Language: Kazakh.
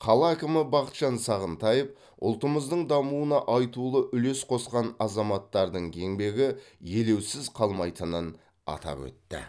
қала әкімі бақытжан сағынтаев ұлтымыздың дамуына айтулы үлес қосқан азаматтардың еңбегі елеусіз қалмайтынын атап өтті